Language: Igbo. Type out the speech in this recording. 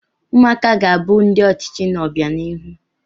Ụmụaka ga-abụ ndị ọchịchị n'obianihu.